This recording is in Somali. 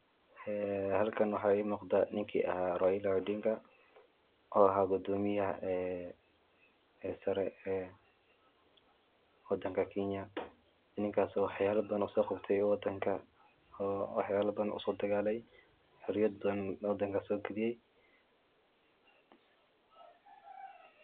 Halkan waxa igamuqda ninki aha Raila Odinga oo eh gudomiyaha sare ee wadanka Kenya, ninkasi waxayala badan ayu usoqabte wadanka oo waxyalaban usodagalay oo xuriyad badan wadanka sogaliye.